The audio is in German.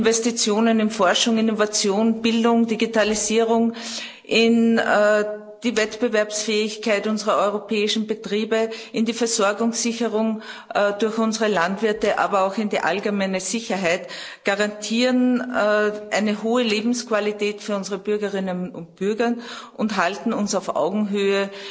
Investitionen in Forschung, Innovation, Bildung, Digitalisierung, in die Wettbewerbsfähigkeit unserer europäischen Betriebe, in die Versorgungssicherung durch unsere Landwirte, aber auch in die allgemeine Sicherheit garantieren eine hohe Lebensqualität für unsere Bürgerinnen und Bürger und halten uns auf Augenhöhe